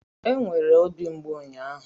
E nwere obi mgbu ụnyaahụ.